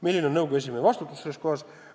Milline on nõukogu esimehe vastutus sellises olukorras?